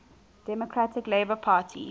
democratic labour party